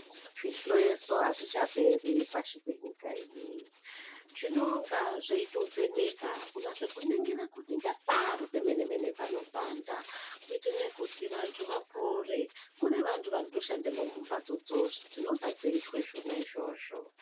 Zvihloyeso azvichaperi pashi penyika ineyi zvinonga zveitovheneka kunase kuningire kuti ngepari pemene mene panopanda kuitire kuti vantu vapore muntu vantu vanotoshandemwo mubatsodzo dzinonga dzeitwe zvona izvozvo.